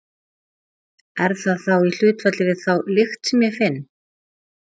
Er það þá í hlutfalli við þá lykt sem ég finn?